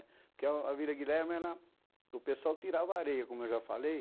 Porque a a Vila Guilherme era, o pessoal tirava areia, como eu já falei.